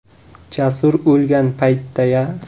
Jasur o‘lgan paytda-ya?